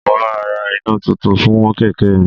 Mo máa ra iná tuntun fún kẹ̀kẹ́ mi